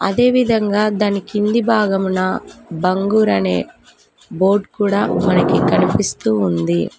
అదేవిధంగా దాని కింది భాగమున బంగూర్ అనే బోర్డ్ కూడా మనకి కనిపిస్తు ఉంది.